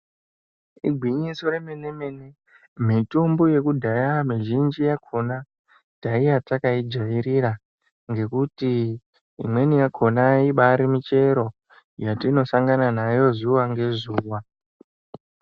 Igwinyiso remene mene mitombo yekudhaya mizhinji yakhonatanga taiya takaijairira ngekuti imweni yakhona ibari michero yatinosangana nayo zuva ngezuva.